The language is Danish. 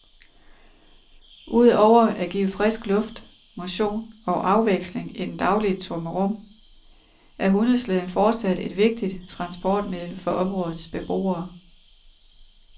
Udover at give frisk luft, motion og afveksling i den daglige trummerum er hundeslæden fortsat et vigtigt transportmiddel for områdets beboere.